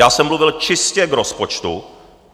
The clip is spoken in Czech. Já jsem mluvil čistě k rozpočtu.